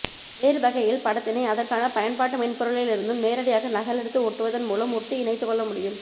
வேறுவகையில் படத்தினை அதற்கான பயன்பாட்டு மென்பொருளில் இருந்தும் நேரடியாக நகலடுத்து ஒட்டுவதன்மூலம் ஒட்டி இணைத்துகொள்ளமுடியும்